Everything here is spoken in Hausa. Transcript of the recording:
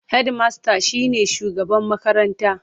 Hedimasta shi ne shugaban makaranta.